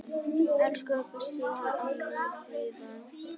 Elsku besta amma Fríða.